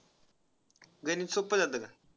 गणित सोपं जात का.